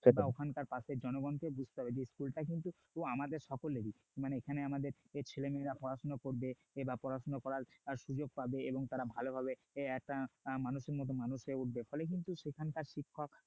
ওখানকার পাশের জনগণকে বুঝতে হবে যে school টা কিন্তু আমাদের সকলেরই মানে এখানে আমাদের যে ছেলে মেয়েরা পড়াশোনা করবে বা পড়াশোনা করার সুযোগ পাবে এবং তারা ভালোভাবে মানুষের মত মানুষ হয়ে উঠবে ফলে কিন্তু এখানকার শিক্ষক